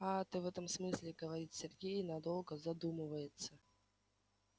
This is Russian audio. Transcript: аа ты в этом смысле говорит сергей и надолго задумывается